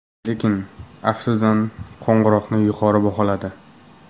Lekin, aftidan, qo‘ng‘iroqni yuqori baholadi.